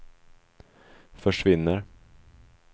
försvinner